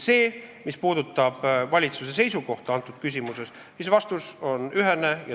Mis puudutab valitsuse seisukohta antud küsimuses, siis vastus on ühene.